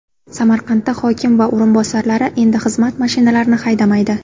Samarqandda hokim va o‘rinbosarlari endi xizmat mashinalarini haydamaydi.